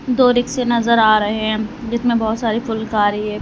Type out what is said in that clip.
दो रिक्शे नजर आ रहे हैं जिसमें बहुत सारी फुलकारी है।